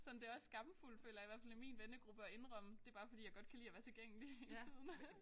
Sådan det også skamfuldt føler jeg i hvert fald i min vennegruppe at indrømme det bare fordi jeg godt kan lide at være tilgængelig hele tiden